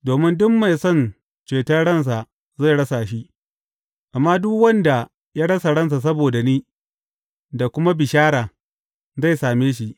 Domin duk mai son ceton ransa zai rasa shi, amma duk wanda ya rasa ransa saboda ni, da kuma bishara, zai same shi.